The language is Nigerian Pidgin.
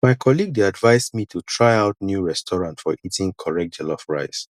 my colleague dey advise me to try out new restaurant for eating correct jollof rice